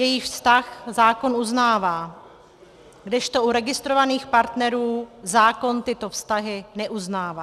Jejich vztah zákon uznává, kdežto u registrovaných partnerů zákon tyto vztahy neuznává.